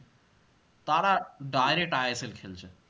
তারা direct ISL খেলছে